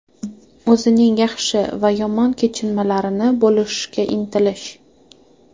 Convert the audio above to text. O‘zining yaxshi va yomon kechinmalarini bo‘lishishga intilish.